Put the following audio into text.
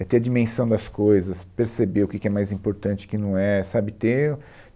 É ter a dimensão das coisas, perceber o que que é mais importante, o que não é, sabe? Ter